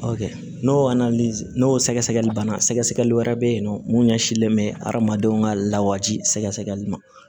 N'o n'o sɛgɛsɛgɛli banna sɛgɛsɛgɛli wɛrɛ bɛ yen nɔ mun ɲɛsinlen bɛ adamadenw ka lawaji sɛgɛli ma